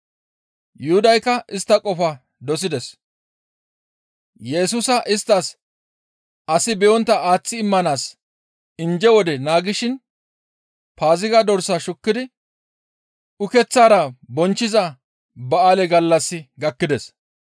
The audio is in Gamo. Yuhudaykka istta qofaa dosides; Yesusa isttas asi be7ontta aaththi immanaas injje wode naagishin Paaziga dorsaa shukkidi ukeththara bonchchiza ba7aale gallassi gakkides.